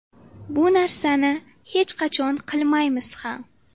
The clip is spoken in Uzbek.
Bu narsani hech qachon qilmaymiz ham.